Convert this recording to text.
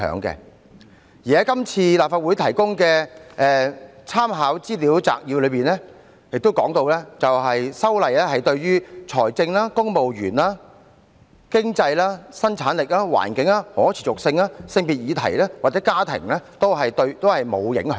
今次在立法會提供的立法會參考資料摘要亦提到，修例對於財政、公務員、經濟、生產力、環境、可持續性、性別或家庭議題均沒有影響。